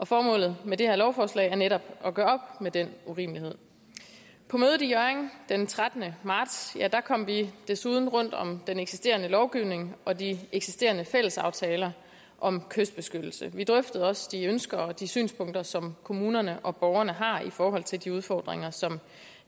formålet med det her lovforslag er netop at gøre op med den urimelighed på mødet i hjørring den trettende marts kom vi desuden rundt om den eksisterende lovgivning og de eksisterende fællesaftaler om kystbeskyttelse vi drøftede også de ønsker og de synspunkter som kommunerne og borgerne har i forhold til de udfordringer som